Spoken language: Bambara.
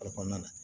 Alikɔnɔna na